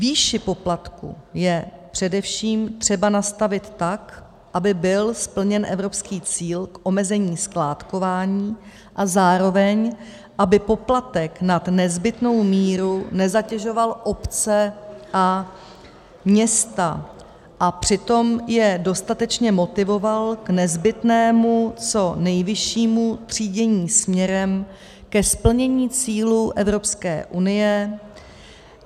Výši poplatku je především třeba nastavit tak, aby byl splněn evropský cíl k omezení skládkování a zároveň aby poplatek nad nezbytnou míru nezatěžoval obce a města a přitom je dostatečně motivoval k nezbytnému co nejvyššímu třídění směrem ke splnění cílů EU.